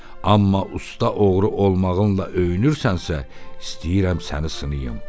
Amma usta oğru olmağınla öyünürsənsə, istəyirəm səni sınayım.